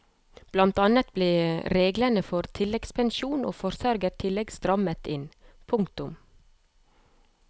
Blant annet ble reglene for tilleggspensjon og forsørgertillegg strammet inn. punktum